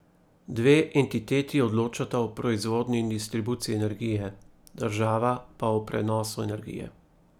Dve entiteti odločata o proizvodnji in distribuciji energije, država pa o prenosu energije.